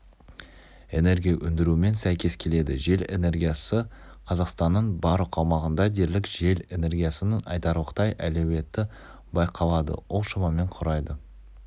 энергия өндірумен сәйкес келеді жел энергиясы қазақстанның барлық аумағында дерлік жел энергиясының айтарлықтай әлеуеті байқалады ол шамамен құрайды